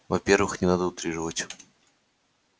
во-первых не надо утрировать